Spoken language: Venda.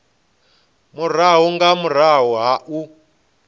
murahu nga murahu ha u